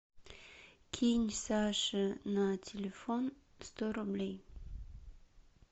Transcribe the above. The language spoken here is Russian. кинь саше на телефон сто рублей